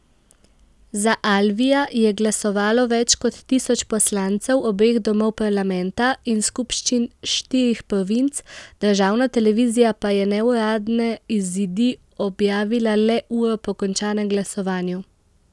Za Alvija je glasovalo več kot tisoč poslancev obeh domov parlamenta in skupščin štirih provinc, državna televizija pa je neuradne izidi objavila le uro po končanem glasovanju.